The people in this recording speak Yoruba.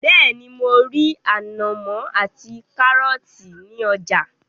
Bẹ́ẹ́ni, mo rí ànàmọ́ ati kárọ́tì ní ọjà.